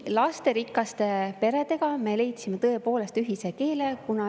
Lasterikaste peredega me leidsime tõepoolest ühise keele.